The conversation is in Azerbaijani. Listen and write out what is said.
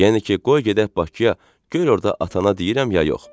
Yəni ki, qoy gedək Bakıya, gör orda atana deyirəm ya yox.